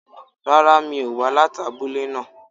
Rárá mi ò wá láti abúlé náà